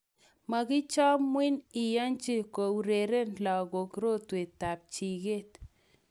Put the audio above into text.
makichamwi iyanji kourerene lakoik rotwetab jiket